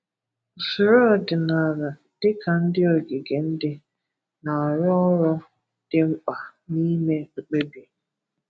Usoro ọdị̀nàlà, dịka ndị ogige ndị, na-arụ ọrụ dị mkpa na ime mkpebi.